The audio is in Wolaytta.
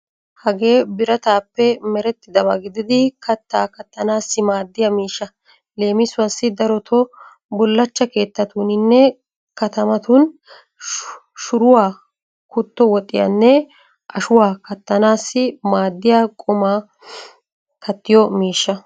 Hagee birataappe merettidaba gididi kattaa kattanaassi maaddiya miishsha. Leemiuwaassi daroto bulaachcha keettatuuninne katamatun shuruwaa, kutto woxiyanne ashuwaa kattanaassi maaddiya qumaa kattiyo miishsha.